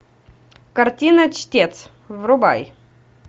картина чтец врубай